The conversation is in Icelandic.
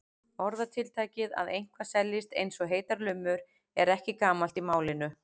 Orðatiltækið að eitthvað seljist eins og heitar lummur er ekki gamalt í málinu.